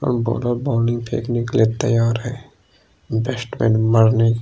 और bowler bowling फेंकने के लिए तैयार है बैट्समैन मारने --